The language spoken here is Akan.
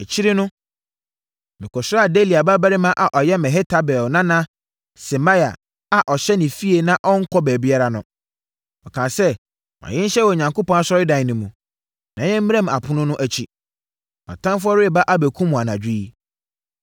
Akyire no, mekɔsraa Delaia babarima a ɔyɛ Mehetabel nana Semaia a ɔhyɛ ne fie na ɔnnkɔ baabiara no. Ɔkaa sɛ, “Ma yɛn nhyia wɔ Onyankopɔn asɔredan no mu, na yɛmmram apono no akyi. Wʼatamfoɔ reba abɛkum wo anadwo yi.”